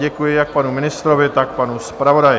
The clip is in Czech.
Děkuji jak panu ministrovi, tak panu zpravodaji.